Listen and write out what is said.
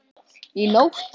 Í nótt?